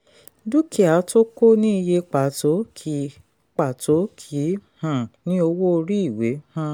dúkìá tó kò ní iye pàtó kì pàtó kì í um ní owó orí ìwé. um